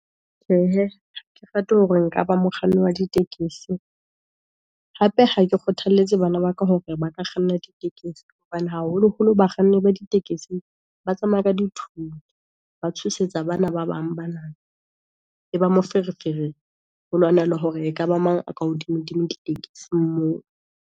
Tjhehe ha ke rate hore nka ba mokganni wa ditekesi, hape ha ke kgothalletse bana ba ka, hore ba ka kganna dikekesi, hobane haholo holo ba kganni ba ditekesi, ba tsamaya ka di thunya, ba tshosetsa ba na ba bang ba na. E ba moferefere ho lwanelwa hore ekaba mang aka hodimo-dimo ditekesing moo.